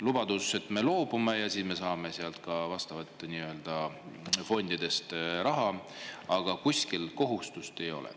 Lubadus, et me loobume ja siis me saame sealt ka vastavatest fondidest raha, aga kuskil kohustust ei ole.